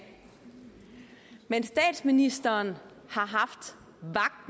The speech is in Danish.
mens statsministeren